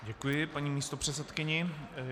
Děkuji paní místopředsedkyni.